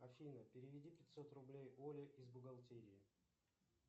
афина переведи пятьсот рублей оле из бухгалтерии